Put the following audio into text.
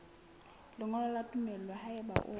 lengolo la tumello haeba o